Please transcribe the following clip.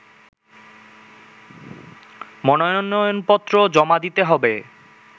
মনোনয়নপত্র জমা দিতে হবে